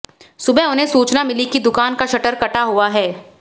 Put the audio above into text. सुबह उन्हें सूचना मिली कि दुकान का शटर कटा हुआ है